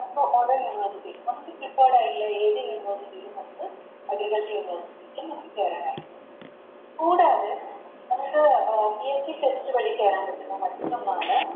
University നമുക്ക് Prepared ആയിറ്റുള്ളേ ഏത് University ലും നമുക്ക് Agriculture university ല് നമുക്ക് കേറാൻ നമുക്ക് PSCTest വഴി കേറാൻ പറ്റുന്ന മറ്റൊന്നാണ്